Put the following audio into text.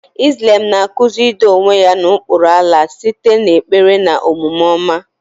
Islam na-akụzi ido onwe ya n'okpuru Allah site n'ekpere na omume ọma.